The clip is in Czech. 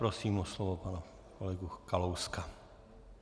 Prosím o slovo pana kolegu Kalouska.